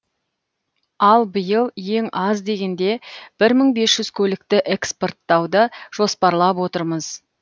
ал биыл ең аз дегенде бір мың бес жүз көлікті экспорттауды жоспарлап отырмыз